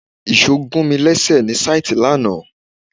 Ìṣò gùn mi léṣe ní síìtì lánàá